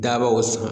Dabaw san